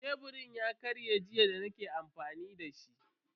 Sheburin ya karye jiya da nake amfani dashi.